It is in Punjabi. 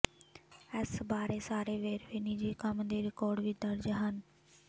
ਇਸ ਬਾਰੇ ਸਾਰੇ ਵੇਰਵੇ ਨਿੱਜੀ ਕੰਮ ਦੇ ਰਿਕਾਰਡ ਵਿੱਚ ਦਰਜ ਹਨ